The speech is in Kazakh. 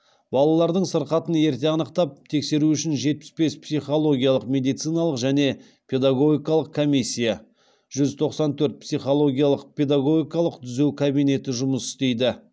балалардың сырқатын ерте анықтап тексеру үшін жетпіс бес психологиялық медициналық және педагогикалық комиссия жүз тоқсан төрт психологиялық педагогикалық түзеу кабинеті жұмыс істейді